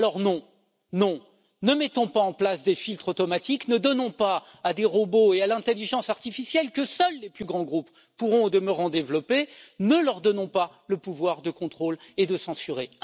Alors non, ne mettons pas en place des filtres automatiques, ne donnons pas à des robots et à l'intelligence artificielle que seuls les plus grands groupes pourront au demeurant développer le pouvoir de contrôler et de censurer.